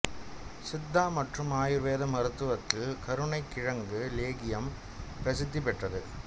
சித்தா மற்றும் ஆயுர்வேத மருத்துவத்தில் கருணைக் கிழங்கு லேகியம் பிரசித்தி பெற்றது